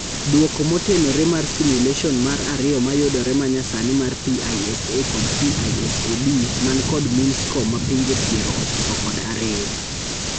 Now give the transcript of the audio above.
Duoko motenore mar simulation mar ariyo mayudore manyasani mar PISA kod PISA-D man kod mean score ma pinje piero ochiko kod ariyo.